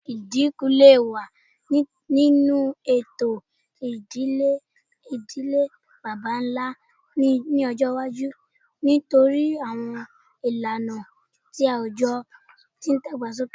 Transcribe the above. Idinku le wa ninu awọn eto idile idile baba-nla ni ọjọ iwaju nitori awọn ilana ti awujọ ti n dagbasoke